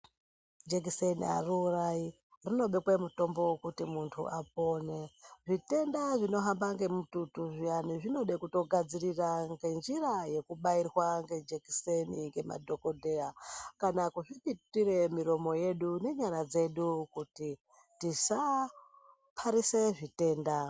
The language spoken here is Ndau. Jekiseni hariurai rinobekwe mutombo vekuti muntu apone. Zvitenda zvino hamba ngemututu zviyani zvinoda kutogadzirira ngenjira yekutobairirwa ngejekiseni ngemadhokodheya. Kana kuzvipipitire miromo yedu nenyara dzedu kuti tisaparise zvitenda.